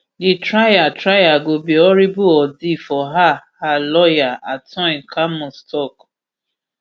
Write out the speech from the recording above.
di trial trial go be horrible ordeal for her her lawyer antoine camus tok